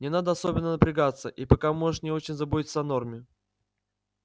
не надо особенно напрягаться и пока можешь не очень заботиться о норме